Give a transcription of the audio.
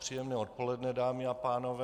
Příjemné odpoledne, dámy a pánové.